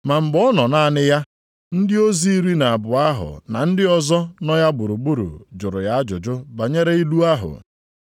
Ma mgbe ọ nọ naanị ya, ndị ozi iri na abụọ ahụ na ndị ọzọ nọ ya gburugburu jụrụ ya ajụjụ banyere ilu ahụ.